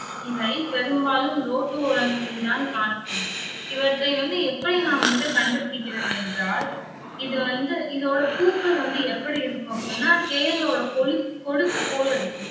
இவை பெரும்பாலும் ரோட்டு ஓரங்களில்தான் காணப்படும். இவற்றை வந்து எப்படி நாம் வந்து கண்டு பிடிக்கிறது என்றால் இது வந்து இதோட பூக்கள் வந்து எப்படி இருக்கும் அப்படின்னா தேளோட கோலுக்~ கொடுக்கு போல இருக்கும்